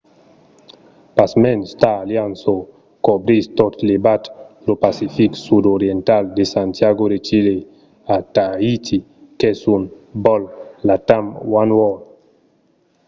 pasmens star alliance o cobrís tot levat lo pacific sud oriental de santiago de chile a tahiti qu'es un vòl latam oneworld